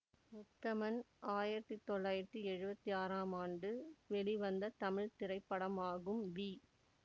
உத்தமன் ஆயிரத்தி தொள்ளாயிரத்தி எழுவத்தி ஆறாம் ஆண்டு வெளிவந்த தமிழ் திரைப்படமாகும் வி